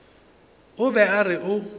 o be a re o